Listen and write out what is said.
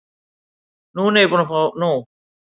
Núna er ég búin að fá nóg.